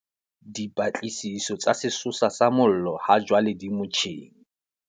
Dipatlisiso tsa sesosa sa mollo hajwale di motjheng.